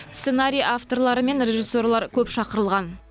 сценарий авторлары мен режиссерлар көп шақырылған